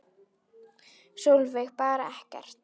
Sólveig: Bara ekkert?